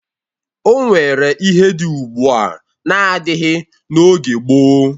O nwere ihe dị ugbua n'adịghị n'oge gboo.